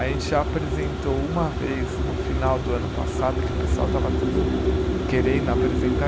A gente já apresentou uma vez no final do ano passado, que o pessoal estava tudo querendo apresentar.